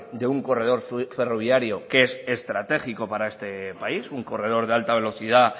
de un corredor ferroviario que es estratégico para este país un corredor de alta velocidad